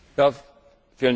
Herr Präsident!